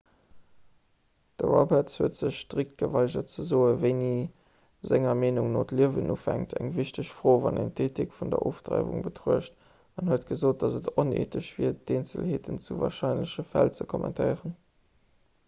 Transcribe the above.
de roberts huet sech strikt geweigert ze soen wéini senger meenung no d'liewen ufänkt eng wichteg fro wann een d'eethik vun der ofdreiwung betruecht an huet gesot datt et oneethesch wier d'eenzelheete vu warscheinleche fäll ze kommentéieren